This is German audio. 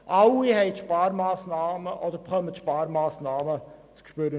Sie alle bekommen die Sparmassnahmen zu spüren.